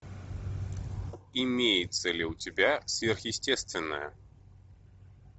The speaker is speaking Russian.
имеется ли у тебя сверхъестественное